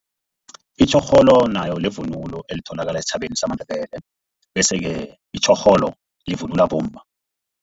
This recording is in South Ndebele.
Itjhorholo nayo livunulo elitholakala esitjhabeni samaNdebele, bese-ke itjhorholo livunulwa bomma.